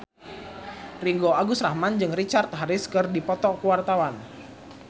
Ringgo Agus Rahman jeung Richard Harris keur dipoto ku wartawan